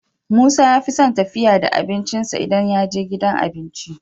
musa yafison tafiya da abincin sa idan yaje gidan abinci